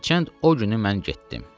Və hərçənd o günü mən getdim.